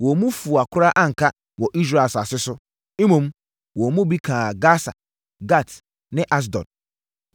Wɔn mu fua koraa anka wɔ Israel asase so, mmom, wɔn mu bi kaa Gasa, Gat ne Asdod.